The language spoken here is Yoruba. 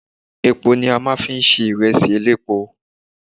Epo ni a máa ń fi ń ṣe ìrẹsì elépo.